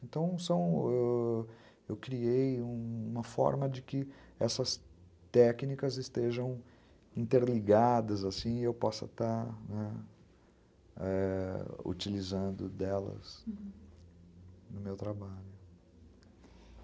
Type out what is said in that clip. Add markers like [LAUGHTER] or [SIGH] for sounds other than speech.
Então, são... ãh... eu criei uma forma de que essas técnicas estejam interligadas, assim, [UNINTELLIGIBLE] e eu possa estar utilizando delas, uhum, no meu trabalho.